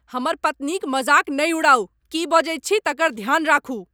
हमर पत्नीक मजाक नहि उड़ाउ। की बजैत छी तकर ध्यान राखू!